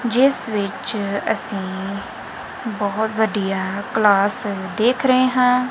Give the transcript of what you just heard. ਜਿਸ ਵਿੱਚ ਅਸੀਂ ਬਹੁਤ ਵਧੀਆ ਕਲਾਸ ਦੇਖ ਰਹੇ ਹਾਂ।